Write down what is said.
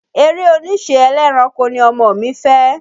Eré oníṣe ẹlẹ́ranko ni ọmọ mi fẹ́.